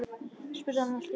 spurði hann allt í einu.